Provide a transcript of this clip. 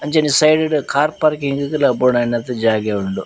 ಅಂಚನೆ ಸೈಡ್ ಡ್ car parking ಲ ಬೋಡಾಯಿನಾತ್ ಜಾಗೆ ಉಂಡು.